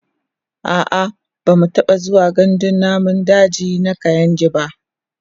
a'a bamu taɓa zuwa gandun namun daji na kainji ba